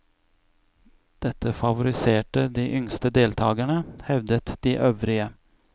Dette favoriserte de yngste deltagerne, hevdet de øvrige.